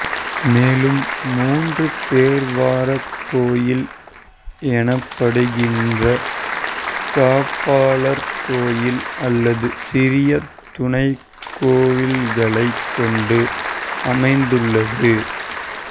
மேலும் மூன்று பெர்வார கோயில் எனப்படுகின்ற காப்பாளர் கோயில் அல்லது சிறிய துணைக் கோயில்களைக் கொண்டு அமைந்துள்ளது